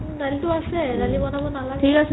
দালিটো আছে দালি বনাব নালাগে